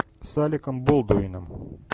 с аликом болдуином